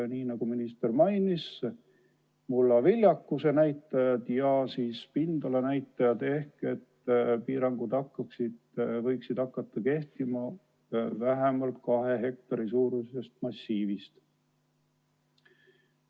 Nagu minister mainis, tähtsad on mullaviljakuse näitajad ja pindala näitajad ning piirangud võiksid hakata kehtima vähemalt kahe hektari suurusest massiivist.